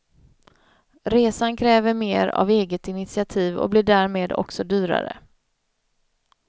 Resan kräver mer av eget initiativ och blir därmed också dyrare.